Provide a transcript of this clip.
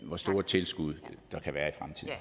hvor store tilskud der kan være